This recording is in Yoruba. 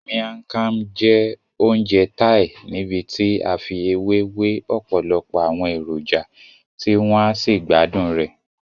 Miang Kham jẹ́ oúnjẹ Thai níbití a fi ewé we ọ̀pọ̀lọpọ̀ àwọn èròjà tí wọ́n á sí gbádùn rẹ.